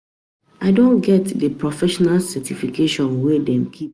I don get di professional certification wey dem keep for doctor dem.